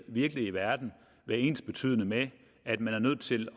virkelige verden være ensbetydende med at man er nødt til